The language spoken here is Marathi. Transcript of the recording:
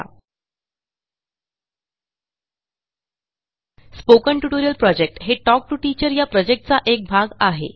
quotस्पोकन ट्युटोरियल प्रॉजेक्टquot हे quotटॉक टू टीचरquot या प्रॉजेक्टचा एक भाग आहे